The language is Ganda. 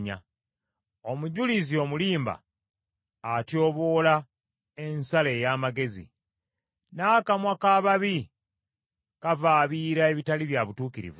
Omujulizi omulimba atyoboola ensala ey’amazima, n’akamwa k’ababi, kavaabira ebitali bya butuukirivu.